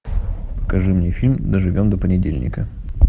покажи мне фильм доживем до понедельника